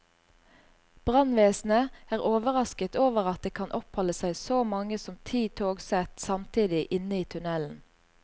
Brannvesenet er overrasket over at det kan oppholde seg så mange som ti togsett samtidig inne i tunnelen.